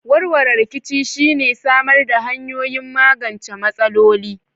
Warware rikici shi ne samar da hanyoyin magance matsaloli.